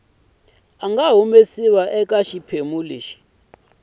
nga humesiwa eka xiphemu xa